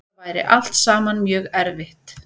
Þetta væri allt saman mjög erfitt